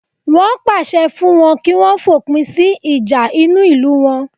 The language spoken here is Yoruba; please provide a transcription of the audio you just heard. Wọn pàṣẹ fún wọn kí wọ́n fòpin sí ìjà inú ìlú wọn